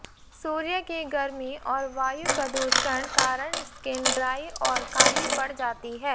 सूर्य की गर्मी और वायु प्रदूषण कारण स्किन ड्राई और काली पड़ जाती है